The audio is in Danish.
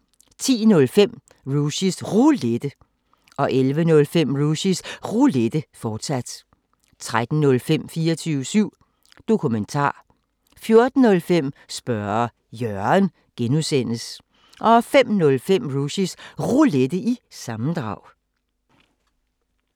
10:05: Rushys Roulette 11:05: Rushys Roulette, fortsat 13:05: 24syv Dokumentar 14:05: Spørge Jørgen (G) 05:05: Rushys Roulette – sammendrag